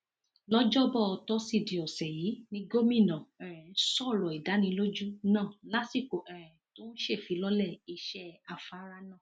lọjọbọ tọsídẹẹ ọsẹ yìí ni gómìnà um sọrọ ìdánilójú náà lásìkò um tó ń ṣèfilọlẹ iṣẹ afárá náà